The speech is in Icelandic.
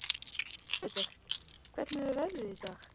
Benedikt, hvernig er veðrið í dag?